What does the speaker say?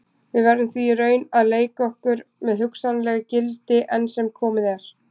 Við verðum því í raun að leika okkur með hugsanleg gildi, enn sem komið er.